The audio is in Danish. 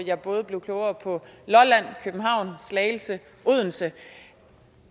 jeg både blev klogere på lolland københavn slagelse odense